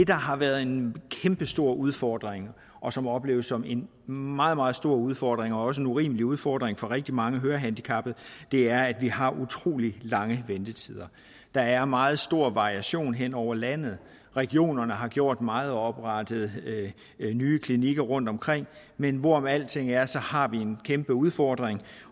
der har været en kæmpestor udfordring og som må opleves som en meget meget stor udfordring og også en urimelig udfordring for rigtig mange hørehandicappede er at vi har utrolig lange ventetider der er meget stor variation hen over landet regionerne har gjort meget og oprettet nye klinikker rundtomkring men hvorom alting er så har vi en kæmpe udfordring